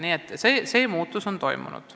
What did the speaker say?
Niisugune muutus on toimunud.